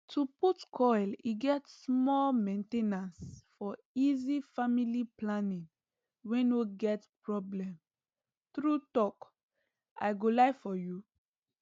to put coil e get small main ten ancefor easy family planing wey no get problem true talk i go lie for u